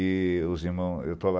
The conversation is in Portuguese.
E os irmãos... Eu estou lá...